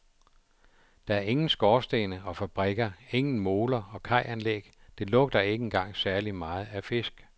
Der er ingen skorstene og fabrikker, ingen moler og kajanlæg, det lugter ikke engang særlig meget af fisk.